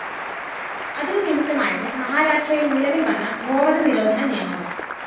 അതിനു നിമിത്തമായത് മഹാരാഷ്ട്രയില്‍ നിലവില്‍ വന്ന ഗോവധനിരോധന നിയമവും